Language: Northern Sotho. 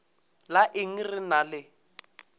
la eng re ena le